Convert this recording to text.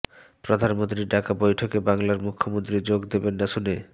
প্রধানমন্ত্রীর ডাকা বৈঠকে বাংলার মুখ্যমন্ত্রী যোগ দেবেন না শুনে